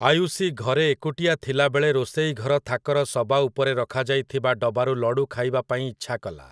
ଆୟୁସୀ ଘରେ ଏକୁଟିଆ ଥିଲାବେଳେ ରୋଷେଇ ଘର ଥାକର ସବା ଉପରେ ରଖାଯାଇଥିବା ଡବାରୁ ଲଡ଼ୁ ଖାଇବା ପାଇଁ ଇଚ୍ଛାକଲା ।